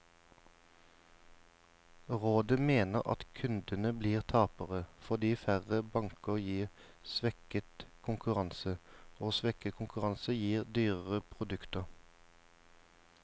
Rådet mener at kundene blir tapere, fordi færre banker gir svekket konkurranse, og svekket konkurranse gir dyrere produkter.